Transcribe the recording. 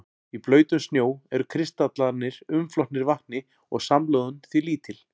Í blautum snjó eru kristallarnir umflotnir vatni og samloðun því lítil.